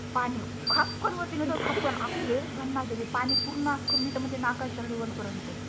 खाकन वरती नेत खपकण अग लयच भन्नाट आहे ते पानी पूर्ण अख मी तर म्हणते नाखाचा लेवलआहे